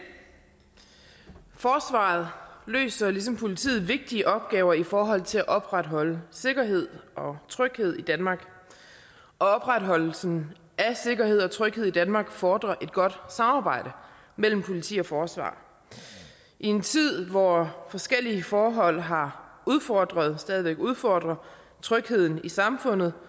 forsvaret løser ligesom politiet vigtige opgaver i forhold til at opretholde sikkerhed og tryghed i danmark opretholdelsen af sikkerhed og tryghed i danmark fordrer et godt samarbejde mellem politi og forsvar i en tid hvor forskellige forhold har udfordret og stadig væk udfordrer trygheden i samfundet